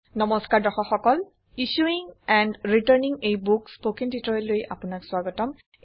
নমস্কাৰ দৰ্শক সকল issuing and returning a book spoken টিউটৰিয়েললৈ স্ৱাগতম